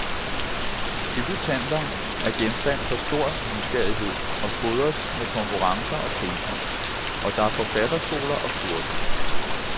Debutanter er genstand for stor nysgerrighed og fodres med konkurrencer og priser, og der er forfatterskoler og kurser.